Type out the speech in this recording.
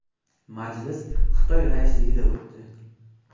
Majlis Xitoy raisligida o‘tdi.